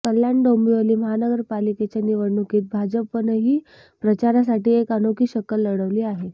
कल्याण डोंबिवली महानगरपालिकेच्या निवडणूकीत भाजपनंही प्रचारासाठी एक अनोखी शक्कल लढवली आहे